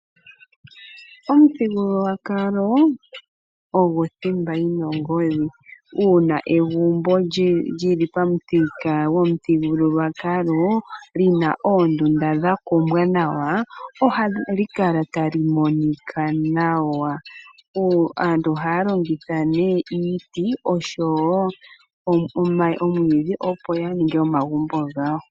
Omuthigululwakalo ogo thimba yi na ongodhi, uuna egumbo lyi li pamuthika gomuthigululwakalo li na oondunda dha kuumbwa nawa, ohali kala tali monika nawa. Aantu ohaya longitha nee iiti oshowo omwidhi opo ya ninge omagumbo gawo.